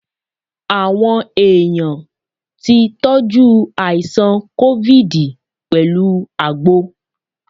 Àwọn èèyàn tí tọ́jú àìsàn COVID pẹ̀lú àgbo.